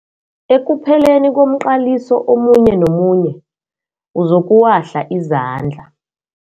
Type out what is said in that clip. Ekupheleni komqaliso omunye nomunye uzokuwahla izandla.